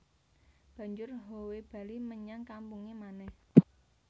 Banjur Howe bali menyang kampunge manèh